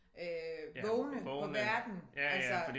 Øh vågne på verden altså